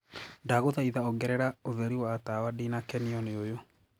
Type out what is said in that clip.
ndagũthaĩtha ongerera ũtherĩ wa tawa ndinakenio ni uyu